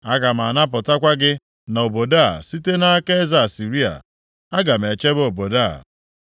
Aga m anapụtakwa gị na obodo a site nʼaka eze Asịrịa. Aga m echebe obodo a.